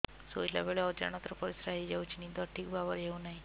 ଶୋଇଲା ବେଳେ ଅଜାଣତରେ ପରିସ୍ରା ହୋଇଯାଉଛି ନିଦ ଠିକ ଭାବରେ ହେଉ ନାହିଁ